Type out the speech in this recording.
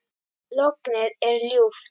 Lognið er ljúft.